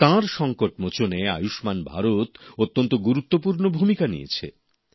তাঁর সংকটমোচনে আয়ুষ্মান ভারত অত্যন্ত গুরুত্বপূর্ণ ভূমিকা নিয়েছে